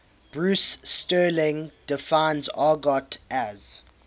bruce sterling defines argot as